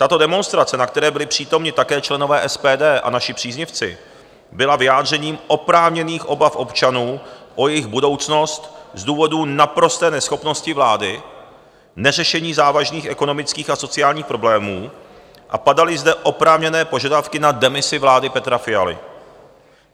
Tato demonstrace, na které byli přítomni také členové SPD a naši příznivci, byla vyjádřením oprávněných obav občanů o jejich budoucnost z důvodu naprosté neschopnosti vlády, neřešení závažných ekonomických a sociálních problémů, a padaly zde oprávněné požadavky na demisi vlády Petra Fialy.